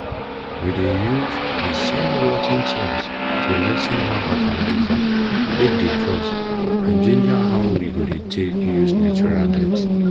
we dey use use de same rot ten things to lessen how fertizer take dey cost and ginger how we go dey take use natural dirty